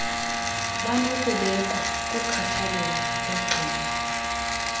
banokubekwa kukhathalelo logcino